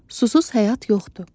Susuz həyat yoxdur.